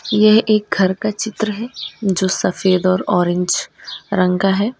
ये एक घर का चित्र है जो सफेद और ऑरेंज रंग का है।